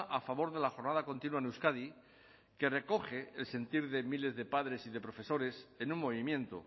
a favor de la jornada continua en euskadi que recoge el sentir de miles de padres y de profesores en un movimiento